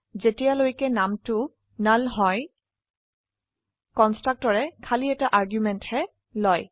যখনকি নাম হল নাল যদিও কন্সট্ৰকটৰে খালী এটা আৰ্গুমেন্টহে লয়